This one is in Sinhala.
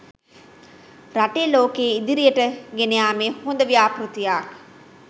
රටක් ලෝකයේ ඉදිරියට ගෙනයාමේ හොද ව්‍යාපෘතියක්